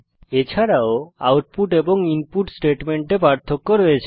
এছাড়াও আউটপুট এবং ইনপুট স্টেটমেন্টে পার্থক্য আছে